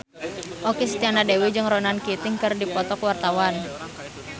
Okky Setiana Dewi jeung Ronan Keating keur dipoto ku wartawan